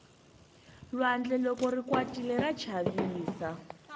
lwandle loko ri kwatile ra chavisa